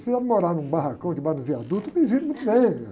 Se tiver que morar num barracão de baixo do viaduto, me viro muito bem.